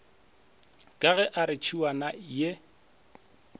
ge a re tšhiwana ye